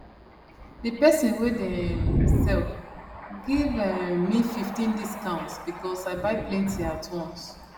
d person wey dey um sell give um me 15 discount because i buy plenty at once